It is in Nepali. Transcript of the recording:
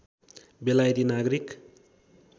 बेलायती नागरिक